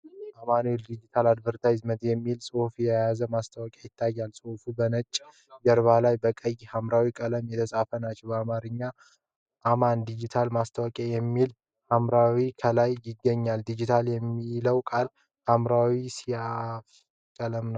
AMAN DIGITAL ADVERTIZING የሚል ጽሑፍ የያዘ ማስታወቂያ ይታያል። ጽሑፎቹ በነጭ ጀርባ ላይ በቀይና ሐምራዊ ቀለሞች የተጻፉ ናቸው። በአማርኛ "አማን ዲጂታል ማስታወቂያ" የሚለው ሐረግም ከላይ ይገኛል። ዲጂታል የሚለውን ቃል ሐምራዊ ሰያፍ ቀለም አለው።